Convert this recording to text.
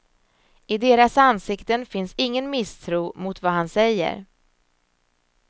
I deras ansikten finns ingen misstro mot vad han säger.